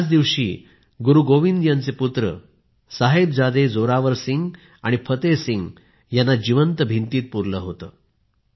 याच दिवशी गुरु गोबिंद यांचे पुत्र साहिबजादे जोरावर सिंह आणि फतेह सिंग यांना जिवंत भिंतीत पुरले होते